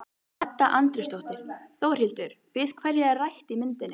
Edda Andrésdóttir: Þórhildur, við hverja er rætt í myndinni?